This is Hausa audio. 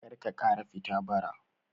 Karka ƙara fita bara